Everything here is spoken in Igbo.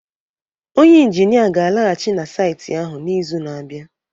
onye injinia ga-alaghachi na saịtị ahụ n'izu na-abịa